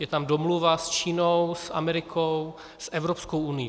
Je tam domluva s Čínou, s Amerikou, s Evropskou unií.